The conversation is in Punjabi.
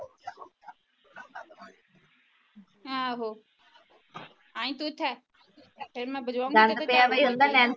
ਆਹੋ ਇਹੀ ਕੁਛ ਏ ਫਿਰ